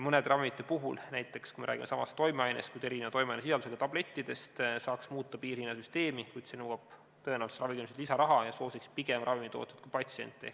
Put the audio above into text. Mõne ravimi puhul – näiteks siis, kui me räägime samast toimeainest, kuid erineva toimeainesisaldusega tablettidest – saaks muuta piirhinnasüsteemi, kuid see nõuab tõenäoliselt ravimikindlustuselt lisaraha ja soosiks pigem ravimitootjaid kui patsiente.